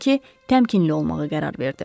Odur ki, təmkinli olmağa qərar verdi.